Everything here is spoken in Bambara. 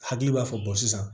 Hakili b'a fɔ sisan